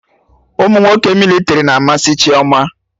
Umunwoke mịlịtrị na amasị Chioma